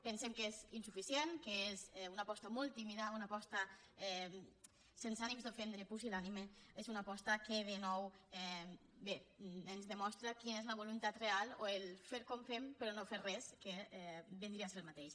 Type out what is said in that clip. pensem que és insuficient que és una aposta molt tímida una aposta sense ànims d’ofendre pusil·lànime és una aposta que de nou bé ens demostra quina és la voluntat real o el fer com fem però no fer res que vindria a ser el mateix